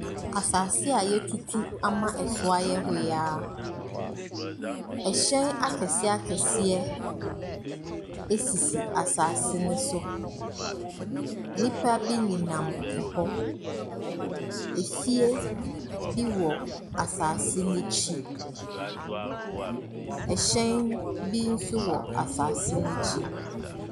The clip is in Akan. Asaase a yatutu ama ɛso ayɛ hoyaa. Ɛhyɛn akɛseɛ akɛseɛ esisi asaase no so. Nipa bi nenam ɛhɔ Efie bi wɔ asaase n'akyi. Ɛhyɛn bi nso wɔ asaase n'akyi.